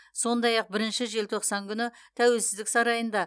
сондай ақ бірінші желтоқсан күні тәуелсіздік сарайында